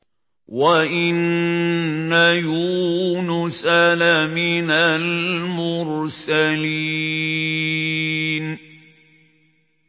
وَإِنَّ يُونُسَ لَمِنَ الْمُرْسَلِينَ